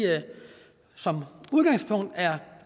som udgangspunkt er